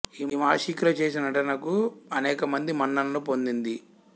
ఈమె ఆషికీలో చేసిన నటనకు అనేక మంది మన్ననలు పొందింది